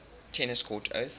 tennis court oath